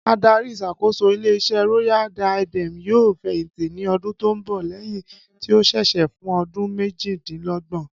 Adarí ìs̩àkóso ilé is̩é̩ Royal Diadem yóò fè̩yìntì ní o̩dún tó ń bò̩ lé̩yìn tí ó s̩is̩é̩ fún o̩dún méjìdínló̩gbò̩n